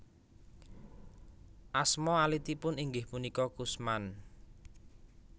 Asma alitipun inggih punika Kusman